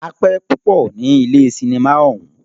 A pẹ́ púpọ ní ilé cinimá ọ̀ún.